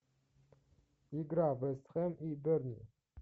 игра вест хэм и бернли